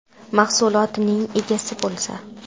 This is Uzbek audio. Mahsulotining egasi bo‘lsa.